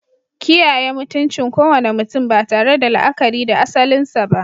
Kiyaye mutuncin kowane mutum ba tare da la'akari da asalinsa ba.